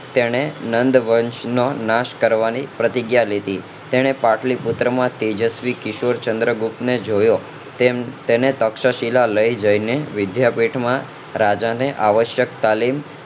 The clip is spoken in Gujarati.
તેણે નંદવંશ નો નાશ કરવાની પ્રતિજ્ઞા લીધી તેને પાટલી પુત્ર માંથી યશ્વી કિશોરચંદ્રગુપ્ત ને જોયો તેને તક્ષશિલા લઇ જઈને વિદ્યાપીઠ માં રાજા ને આવશ્યક તાલીમ